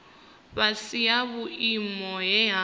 fhasi ha vhuimo he ha